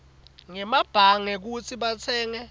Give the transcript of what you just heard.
ngemabhange kutsi batsenge